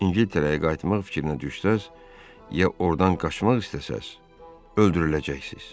İngiltərəyə qayıtmaq fikrinə düşsəniz ya ordan qaçmaq istəsəniz, öldürüləcəksiz.